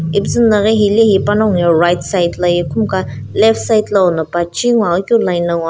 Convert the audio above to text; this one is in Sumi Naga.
ipuzu no hilaehe panago right side laye khumkaha left side lono pachi gho ghi keu line lo --